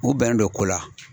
U bɛnnen do ko la.